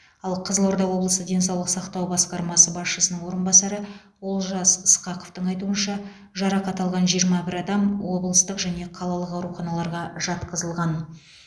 ал қызылорда облысы денсаулық сақтау басқармасы басшысының орынбасары олжас ысқақовтың айтуынша жарақат алған жиырма бір адам облыстық және қалалық ауруханаларға жатқызылған